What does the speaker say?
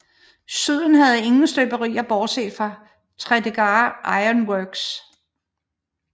Syden havde ingen støberier bortset fra Tredegar Iron Works